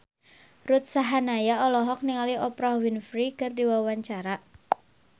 Ruth Sahanaya olohok ningali Oprah Winfrey keur diwawancara